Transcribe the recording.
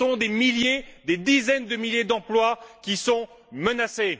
Ce sont des milliers, des dizaines de milliers d'emplois qui sont menacés.